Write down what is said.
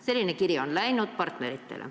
Selline kiri on läinud partneritele.